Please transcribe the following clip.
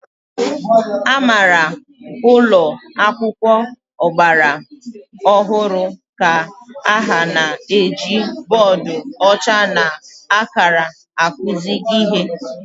Amara ụlọ akwụkwọ ọgbara ọhụrụ ka ha na-eji bọọdụ ọcha na akara akụzi ihe.